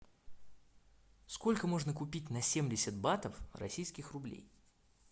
сколько можно купить на семьдесят батов российских рублей